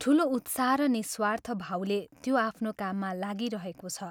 ठूलो उत्साह र निःस्वार्थ भावले त्यो आफ्नो काममा लागिरहेको छ।